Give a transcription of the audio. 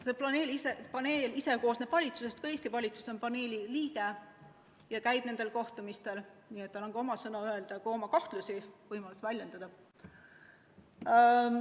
See paneel koosneb valitsusest, ka Eesti valitsus on paneeli liige ja käib nendel kohtumistel, nii et tal on ka oma sõna öelda, oma võimalus kahtlusi väljendada.